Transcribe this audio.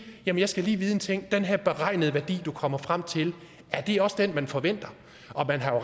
jeg skal lige vide en ting den her beregnede værdi du kommer frem til er det også den man forventer og man har